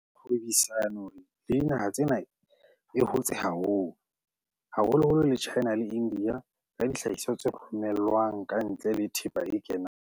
Kgwebisano le dinaha tsena e hotse haholo, haholoholo le China le India ka dihlahiswa tse romelwang kantle le thepa e kenang.